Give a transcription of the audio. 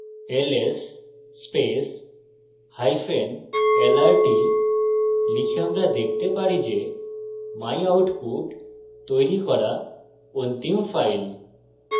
lslrt লিখে আমরা দেখতে পারি যে myoutput তৈরি করা অন্তিম file